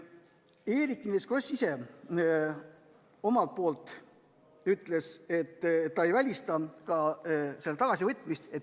Eerik-Niiles Kross ise ütles, et ta ei välista ka eelnõu tagasivõtmist.